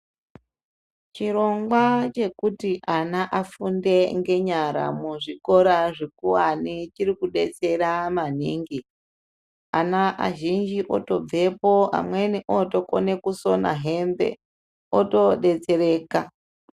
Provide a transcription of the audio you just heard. Chirongwa chekuti ana afunde nenyara muzvikora zvikuwane chirikubetsera maningi ana azhinji otobvepo amweni otokone kusina hembe otoodetsereka.